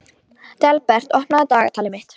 Dalbert, opnaðu dagatalið mitt.